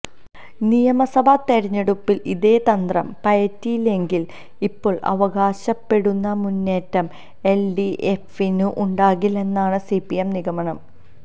നിയമസഭാ തെരഞ്ഞെടുപ്പിൽ ഇതേതന്ത്രം പയറ്റിയില്ലെങ്കിൽ ഇപ്പോൾ അവകാശപ്പെടുന്ന മുന്നേറ്റം എൽഡിഎഫിനുണ്ടാകില്ലെന്നാണ് സിപിഎം നിഗമനം